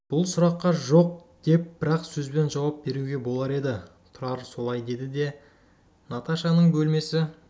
бұл сұраққа жоқ деп бір-ақ сөзбен жауап беруге болар еді тұрар солай деді де наташаның бөлмесі